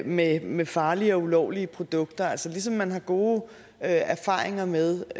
med med farlige og ulovlige produkter altså ligesom man har gode erfaringer med